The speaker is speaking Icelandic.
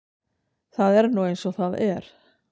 Það er nú eins og það er.